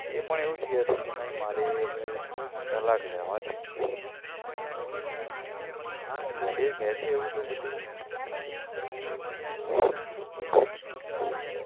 એ પણ એવું જ કેય છે નઈ મારે હવે તલાખ લેવા છે હા યાર એ કહે છે એવું તો પછી હું પણ શુ કરું હમ